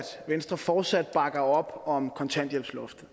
venstre fortsat bakker op om kontanthjælpsloftet